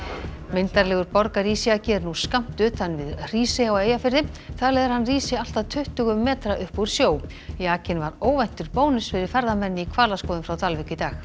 myndarlegur borgarísjaki er nú skammt utan við Hrísey á Eyjafirði talið er að hann rísi allt að tuttugu metra upp úr sjó jakinn var óvæntur bónus fyrir ferðamenn í hvalaskoðun frá Dalvík í dag